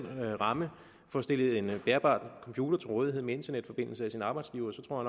ramme får stillet en bærbar computer til rådighed med internetforbindelse af sin arbejdsgiver tror